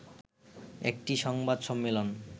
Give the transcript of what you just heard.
একটি সংবাদ সম্মেলন